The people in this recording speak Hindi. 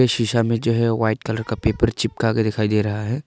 इस शीशा में जो है वाइट कलर का पेपर चिपका के दिखाई दे रहा है।